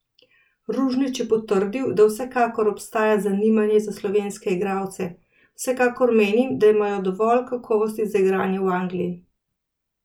Ružnić je potrdil, da vsekakor obstaja zanimanje za slovenske igralce: "Vsekakor menim, da imajo dovolj kakovosti za igranje v Angliji.